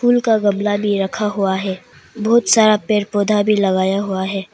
फूल का गमला भी रखा हुआ है बहुत सारा पेड़ पौधा भी लगाया हुआ है।